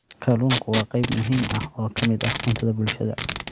Kalluunku waa qayb muhiim ah oo ka mid ah cuntada bulshada.